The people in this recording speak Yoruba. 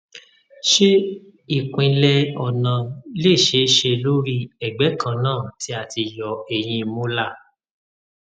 se ipinle ona le se se lori egbe kan na ti a ti yo ehin molar